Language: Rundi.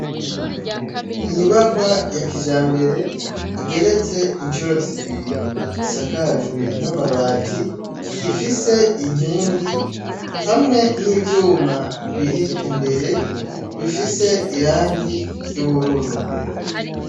Inyubakwa ya kijambere, igeretse incuro zibiri, isakajwe n'amabati , ifise inkingi hamwe n'ivyuma biri imbere, bifise irangi ry'ubururu.